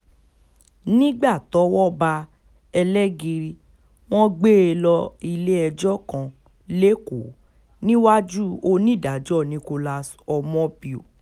nígbà tọ́wọ́ bá ẹlẹgìrì wọn gbé e lọ ilé-ẹjọ́ kan lẹ́kọ̀ọ́ níwájú onídàájọ́ nicholas omobio